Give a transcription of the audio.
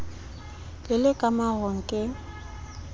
le le ka marung ke